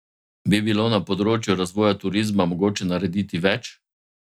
Bi bilo na področju razvoja turizma mogoče narediti več?